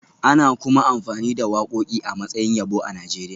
Ana kuma amfani da wakoki a matsayin yabo a Najeriya